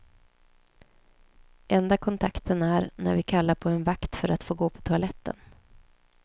Enda kontakten är, när vi kallar på en vakt för att få gå på toaletten.